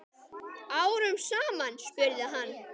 Árum saman? spurði hann.